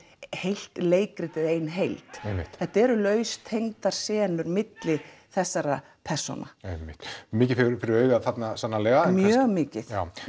heilt leikrit eða ein heild einmitt þetta eru laust tengdar senur milli þessara persóna einmitt mikið fyrir fyrir augað þarna sannarlega mjög mikið já